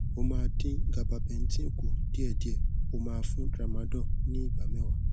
ó máa dín gabapentin kù díẹdíẹ ó máa fún tramadol ní igba mẹwàá